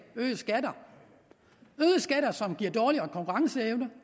og øgede skatter øgede skatter som giver dårligere konkurrenceevne